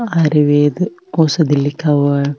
आयुर्वेद औषधि लिखा हुआ है।